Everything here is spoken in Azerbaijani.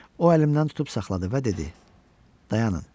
O əlimdən tutub saxladı və dedi: Dayanın.